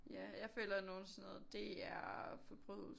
Ja jeg føler nogle sådan DR og Forbrydelsen